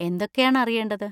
എന്തൊക്കെയാണ് അറിയേണ്ടത്?